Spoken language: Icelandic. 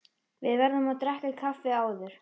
Við verðum að drekka kaffi áður.